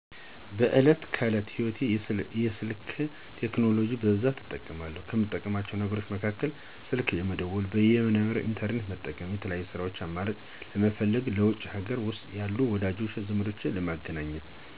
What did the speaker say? በዕለት ተዕለት ህይወቴ የስልክ ቴክኖሎጂን በብዛት እጠቀማለሁ። ከምጠቀማቸው ነገሮች መካከል፦ ስልክ ለመደወል፣ በይነ-መረብ (ኢንተርኔት) ለመጠቀም፣ የተለያዩ የስራ አማራጮችን ለመፈለግ እና ለውጪም ሀገር ውስጥም ያሉ ወዳጅ ዘመዶቼን ለማግኘት እንጠቀማለሁ።